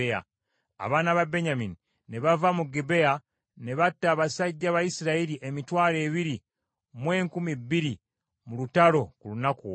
Abaana ba Benyamini ne bava mu Gibea ne batta abasajja ba Isirayiri emitwalo ebiri mu enkumi bbiri mu lutalo ku lunaku olwo.